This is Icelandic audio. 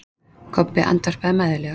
Kobbi andvarpaði mæðulega.